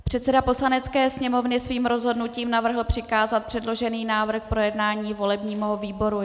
Předseda Poslanecké sněmovny svým rozhodnutím navrhl přikázat předložený návrh k projednání volebnímu výboru.